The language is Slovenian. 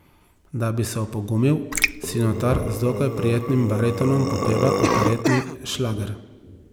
Da bi se opogumil, si notar z dokaj prijetnim baritonom popeva operetni šlager.